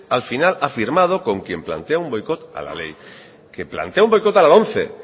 al final ha firmado con quien plantea un boicot a la ley que plantea un boicot a la lomce